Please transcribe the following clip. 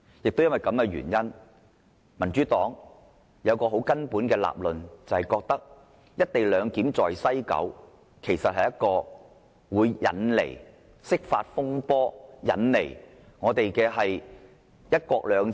因此，民主黨有一個基本理論，就是"一地兩檢"在西九龍站實施，會引來釋法風波，影響"一國兩制"。